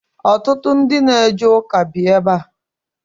Ọtụtụ ndị na eje ụka bi ebe a.